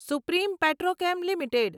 supreme Petrochem limited